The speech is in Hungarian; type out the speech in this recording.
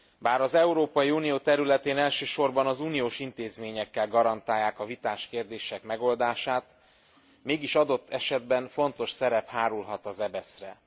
Bár az Európai Unió területén elsősorban az uniós intézményekkel garantálják a vitás kérdések megoldását, mégis, adott esetben fontos szerep hárulhat az EBESZ re.